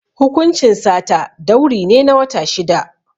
Hukuncin sata, dauri ne na wata shida.